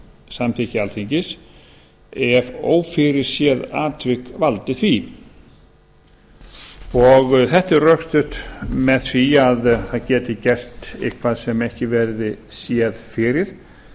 samþykki alþingis ef ófyrirséð atvik valdi því þetta er rökstutt með því að það geti gert eitthvað sem ekki verði séð fyrir